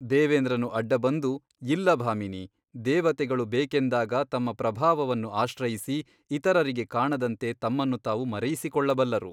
ದೇವೇಂದ್ರನು ಅಡ್ಡ ಬಂದು ಇಲ್ಲ ಭಾಮಿನಿ ದೇವತೆಗಳು ಬೇಕೆಂದಾಗ ತಮ್ಮ ಪ್ರಭಾವವನ್ನು ಆಶ್ರಯಿಸಿ ಇತರರಿಗೆ ಕಾಣದಂತೆ ತಮ್ಮನ್ನು ತಾವು ಮರೆಯಿಸಿಕೊಳ್ಳಬಲ್ಲರು.